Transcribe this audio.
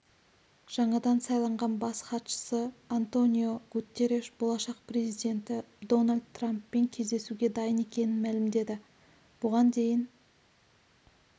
жаңадан сайланған бас хатшысы антонио гуттереш болашақ президенті дональд трамппен кездесуге дайын екенін мәлімдеді бұған дейін